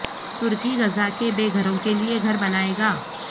ترکی غزہ کے بے گھروں کے لئے گھر بنائے گا